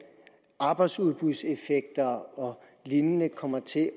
arbejdsudbudseffekter og lignende kommer til